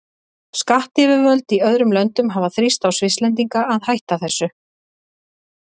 Skattyfirvöld í öðrum löndum hafa þrýst á Svisslendinga að hætta þessu.